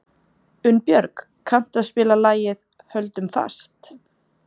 Unnbjörg, kanntu að spila lagið „Höldum fast“?